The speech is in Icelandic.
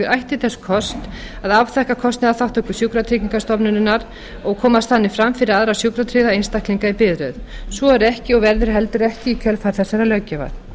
ætti þess kost að afþakka kostnaðarþátttöku sjúkratryggingastofnunarinnar og komast þannig fram fyrir aðra sjúkratryggða einstaklinga í biðröð svo er ekki og verður heldur ekki í kjölfar þessarar löggjafar